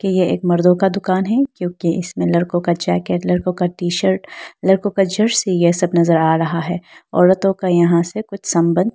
यह एक मर्दों का दुकान है क्योंकि इसमें लड़को का जैकेट लड़को का टी शर्ट लड़को का जर्सी ये सब नजर आ रहा है औरतों का यहां से कुछ संबंध --